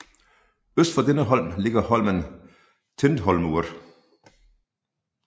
Øst for denne holm ligger holmen Tindhólmur